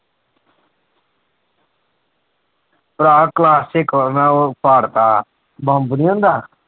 ਭਰਾ class ਚ ਇੱਕ ਵਾਰ ਮੈਂ ਉਹ ਪਾੜ ਤਾ ਬੰਬ ਨੀ ਹੁੰਦਾ।